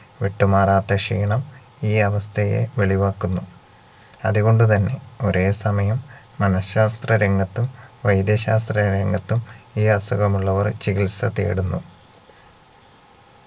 വിട്ടുമാറാത്ത ക്ഷീണം ഈ അവസ്ഥയെ വെളിവാക്കുന്നു അതുകൊണ്ടുതന്നെ ഒരേസമയം മനശാസ്ത്ര രംഗത്തും വൈദ്യശാസ്ത്ര രംഗത്തും ഈ അസുഖമുള്ളവർ ചികിത്സ തേടുന്നു